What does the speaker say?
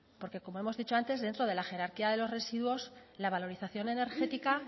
porque como hemos dicho antes dentro de la jerarquía de los residuos la valorización energética